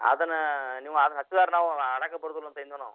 ಅದ್ನ ನೀವ್ ನೀವ್ ಹಚ್ಚುದಾರ್ರ ನಾವೂ ಆಡಕ್ ಬರುದಿಲ್ ಅಂತ್ತೇಳೀದ್ನ್ ನಾವ್.